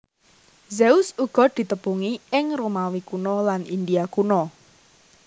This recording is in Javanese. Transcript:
Zeus uga ditepungi ing Romawi Kuna lan India kuna